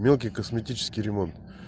мелкий косметический ремонт